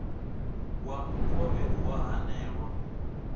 wa mukovhe u a hanelwa